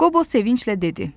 Qobo sevinclə dedi: